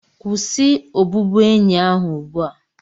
kwụsị obubuenyi ahụ ugbu a!